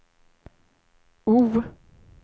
O